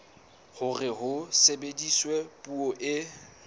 hore ho sebediswe puo e